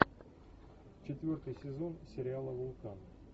четвертый сезон сериала вулкан